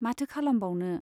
माथो खालामबावनो !